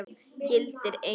Gildir einu!